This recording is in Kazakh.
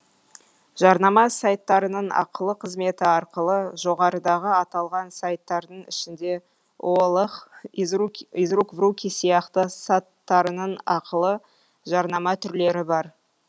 жарнама сайттарының ақылы қызметі арқылы жоғарыдағы аталған сайтардың ішінде олх из рук в руки сияқты саттарының ақылы жарнама түрлері бар